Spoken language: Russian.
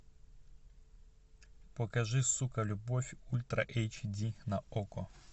покажи сука любовь ультра эйч ди на окко